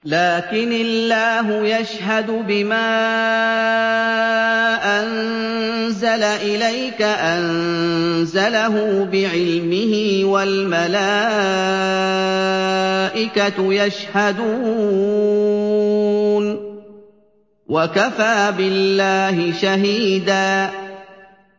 لَّٰكِنِ اللَّهُ يَشْهَدُ بِمَا أَنزَلَ إِلَيْكَ ۖ أَنزَلَهُ بِعِلْمِهِ ۖ وَالْمَلَائِكَةُ يَشْهَدُونَ ۚ وَكَفَىٰ بِاللَّهِ شَهِيدًا